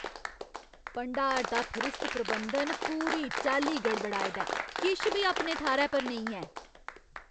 भंडार दा फरिस्त प्रबंधन पूरी चाल्ली गड़बड़ाए दा ऐ। किश बी अपने थाह्‌रै पर नेईं ऐ ।